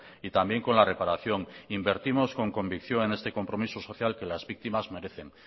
y también con la reparación invertimos con convicción en este compromiso social que las víctimas merecen